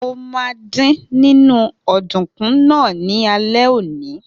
Mo ma dín nínú ọ̀dùnkún náà ní alẹ́ òní.